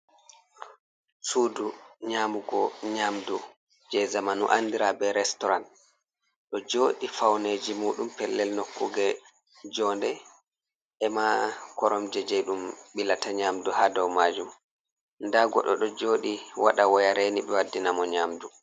Suudu nyamugo nyamdu jei zamanu andira be restoran, ɗo jooɗi fauneji muɗum pellel nokkuge jonde ema koromje jei ɗum ɓilata nyamdu ha dow majum, nda goɗɗo ɗo jooɗi waɗa waya reni ɓe waddina mo nyamdu.